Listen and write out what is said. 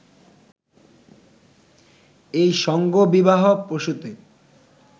এই সংঘবিবাহ-প্রসূত